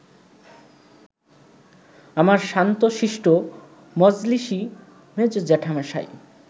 আমার শান্তশিষ্ট মজলিশী মেজ জ্যাঠামশাই